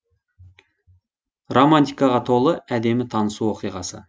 романтикаға толы әдемі танысу оқиғасы